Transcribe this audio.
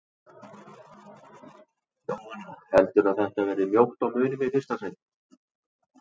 Jóhanna: Heldurðu að þetta verði mjótt á mununum í fyrsta sæti?